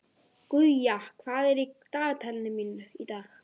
Guja, hvað er í dagatalinu mínu í dag?